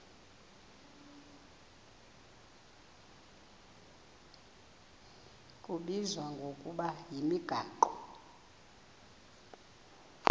kubizwa ngokuba yimigaqo